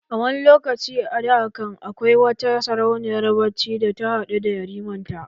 A wani lokaci a da can, akwai wata sarauniyar bacci da ta haɗu da yariman ta